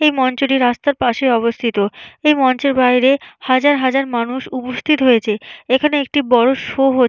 এই মঞ্চটি রাস্তার পাশে অবস্থিত এই মঞ্চের বাইরে হাজার হাজার মানুষ উপস্থিত হয়েছে এখানে একটি বড় শো হ --